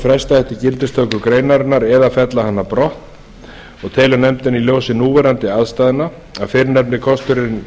fresta ætti gildistöku greinarinnar eða fella hana brott nefndin telur í ljósi núverandi efnahagsaðstæðna að fyrrnefndi kosturinn